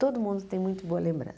Todo mundo tem muito boa